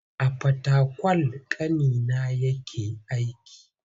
A Fatakwal ƙanina yake aiki.